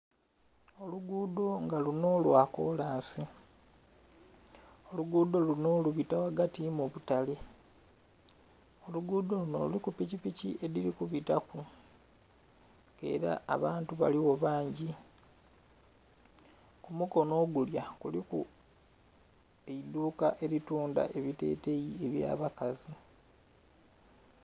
oluguudho nga lunho lwa koolansi oligudho lunho lubita ghagati mu butaale. Oluguudho lunho lulinha epikipiki edhili ku bitaku, keela abantu baligha bangi ku mukono ogulya kuliku eidhuka elituundha ebuteteyi ebya bakazi.